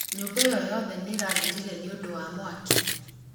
Nyũmba ĩo yothe nĩ ĩrathirire nĩũndũ wa mwaki